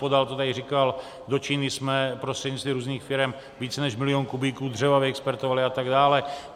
Podal to tady říkal, do Číny jsme prostřednictvím různých firem více než milion kubíků dřeva vyexpedovali atd.